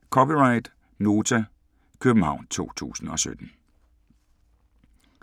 (c) Nota, København 2017